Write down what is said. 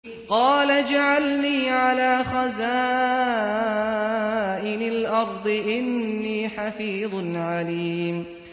قَالَ اجْعَلْنِي عَلَىٰ خَزَائِنِ الْأَرْضِ ۖ إِنِّي حَفِيظٌ عَلِيمٌ